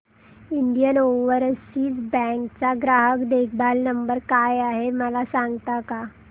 Indian Overseas Bank चा ग्राहक देखभाल नंबर काय आहे मला सांगता का